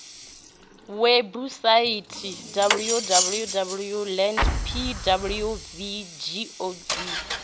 webusaithi www land pwv gov